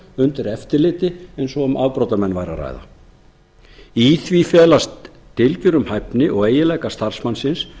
undir eftirliti eins og um afbrotamenn væri að ræða í því felast dylgjur um hæfni og eiginleika starfsmannsins